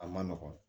A ma nɔgɔn